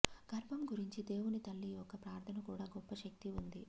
గర్భం గురించి దేవుని తల్లి యొక్క ప్రార్థన కూడా గొప్ప శక్తి ఉంది